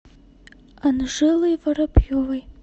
анжелой воробьевой